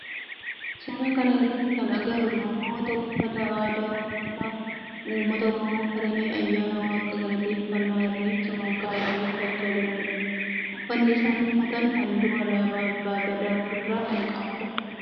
Suuraa kana irratti kan agarru namoota uffata aadaa ummata oromoo uffatanii ayyaana waaqa galateeffannaa irreecha malkaa irreeffachaa jiranidha. Uffanni isaan uffatan halluu alaabaa abbaa Gadaa of irraa kan qabu dha.